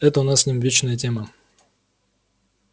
это у нас с ним вечная тема